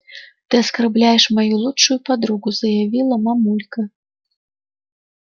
ты оскорбляешь мою лучшую подругу заявила мамулька